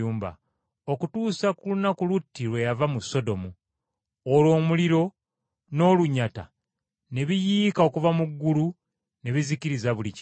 okutuusa ku lunaku Lutti lwe yava mu Sodomu. Olwo omuliro n’olunyata ne biyiika okuva mu ggulu ne bizikiriza buli kimu.